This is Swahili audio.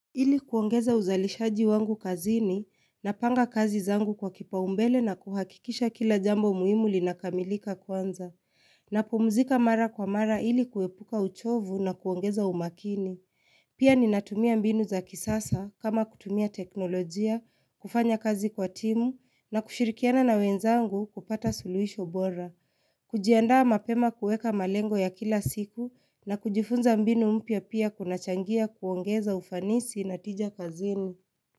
Ili kuongeza uzalishaji wangu kazini na panga kazi zangu kwa kipaumbele na kuhakikisha kila jambo muhimuli linakamilika kwanza. Na pumzika mara kwa mara ili kuepuka uchovu na kuongeza umakini. Pia ni natumia mbinu za kisasa kama kutumia teknolojia, kufanya kazi kwa timu na kushirikiana na wenzangu kupata suluisho bora. Kujiandaa mapema kueka malengo ya kila siku na kujifunza mbinu mpya pia kunachangia kuongeza ufanisi na tija kazini.